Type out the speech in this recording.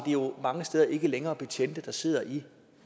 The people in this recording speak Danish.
jo mange steder ikke længere er betjente der sidder i